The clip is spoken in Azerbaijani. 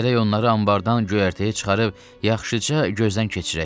Gərək onları anbardan göyərtəyə çıxarıb yaxşıca gözdən keçirək.